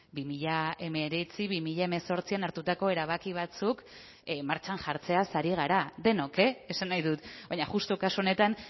bi mila hemeretzi bi mila hemezortzian hartutako erabaki batzuk martxan jartzeaz ari gara denok e esan nahi dut baina justu kasu honetan